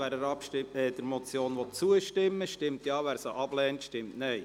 Wer der Motion zustimmen will, stimmt Ja, wer diese ablehnt, stimmt Nein.